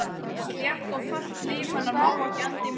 Slétt og fellt líf hennar má ekki enda í martröð.